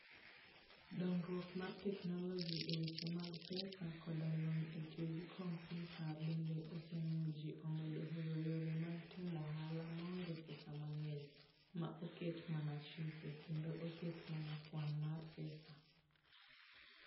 Dongruok mar teknoloji e weche mag pesa koda lony e tiyo gi kompyuta, bende osemiyo ji omed hero yore mag timo ohala ma onge pesa mang'eny, ma oket mana chike, kendo oket mana kwan mar pesa.